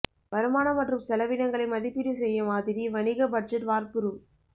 வருமானம் மற்றும் செலவினங்களை மதிப்பீடு செய்ய மாதிரி வணிக பட்ஜெட் வார்ப்புரு